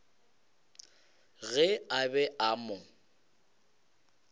ge a be a mo